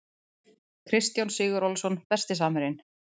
Kristján Sigurólason Besti samherjinn?